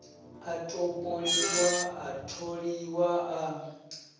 a topoliwa a tholiwa a